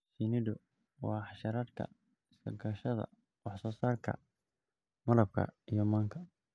Shinnidu waa xasharaadka iska kaashada wax soo saarka malabka iyo manka.